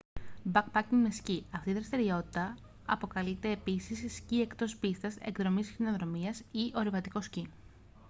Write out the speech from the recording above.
backpacking με σκι αυτή η δραστηριότητα αποκαλείται επίσης σκι εκτός πίστας εκδρομές χιονοδρομίας ή ορειβατικό σκι